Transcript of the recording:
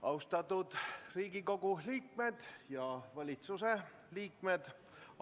Austatud Riigikogu liikmed ja valitsuse liikmed!